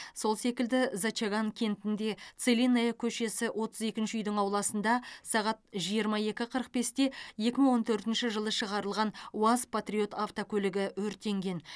сол секілді зачаган кентінде целинная көшесі отыз екінші үйдің ауласында сағат жиырма екі қырық бесте екі мың он төртінші жылы шығарылған уаз патриот автокөлігі өртенген